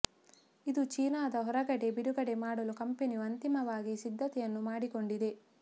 ಇದು ಚೀನಾದ ಹೊರಗಡೆ ಬಿಡುಗಡೆ ಮಾಡಲು ಕಂಪನಿಯು ಅಂತಿಮವಾಗಿ ಸಿದ್ಧತೇಯನ್ನು ಮಾಡಿಕೊಂಡಿದೆ